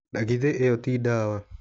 Na githe ĩyo ti dawa.